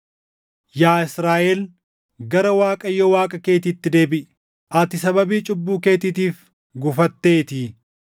Yaa Israaʼel, gara Waaqayyo Waaqa keetiitti deebiʼi. Ati sababii cubbuu keetiitiif gufatteetii!